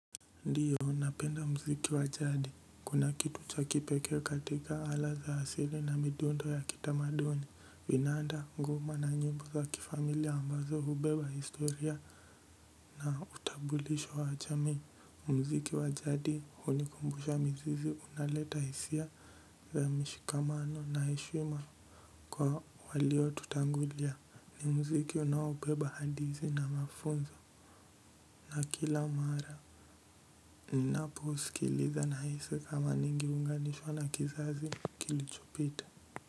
Ndiyo napenda muziki wa jadi kuna kitu cha kipekee katika ala za asili na midundo ya kitamaduni vinanda ngoma na nyimbo za kifamilia ambazo hubeba historia na utambulisho wa jamii muziki wa jadi hunikumbusha mizizi unaleta hisia za mishikamano na heshima kwa waliotutangulia ni mziki unaobeba hadithi na mafunzo na kila mara ninaposikiliza nahisi kama ningeunganishwa na kizazi kilichopita.